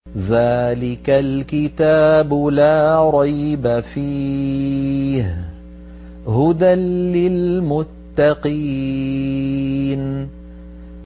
ذَٰلِكَ الْكِتَابُ لَا رَيْبَ ۛ فِيهِ ۛ هُدًى لِّلْمُتَّقِينَ